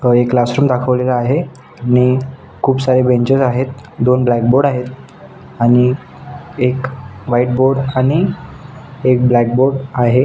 अ एक classroom दाखवलेला आहे आणि खुप सारे बेंचेस आहेत दोन ब्लॅक बोर्ड आणि एक व्हाइट बोर्ड आणि ब्लॅक बोर्ड आहे.